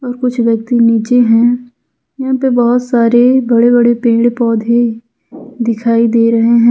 और कुछ व्यक्ति नीचे हैं यहां पे बहुत सारे बड़े बड़े पेड़ पौधे दिखाई दे रहे हैं।